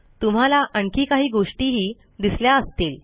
तुम्हाला आणखी काही गोष्टीही दिसल्या असतील